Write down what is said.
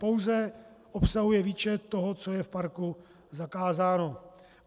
Pouze obsahuje výčet toho, co je v parku zakázáno.